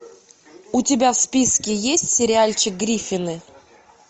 у тебя в списке есть сериальчик гриффины